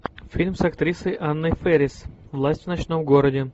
фильм с актрисой анной фэрис власть в ночном городе